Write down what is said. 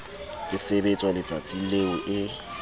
e sebetswa letsatsing leo e